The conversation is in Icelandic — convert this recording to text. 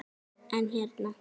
En hérna.